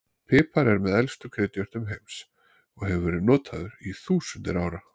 Pipar er með elstu kryddjurtum heims og hefur verið notaður í þúsundir ára.